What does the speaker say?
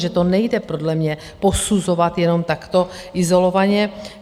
Že to nejde podle mě posuzovat jenom takto izolovaně.